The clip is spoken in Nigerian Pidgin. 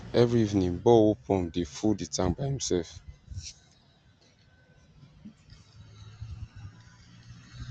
every evening borehole pump dey fulll the tank by imself